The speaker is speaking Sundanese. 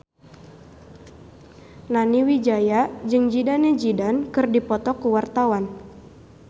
Nani Wijaya jeung Zidane Zidane keur dipoto ku wartawan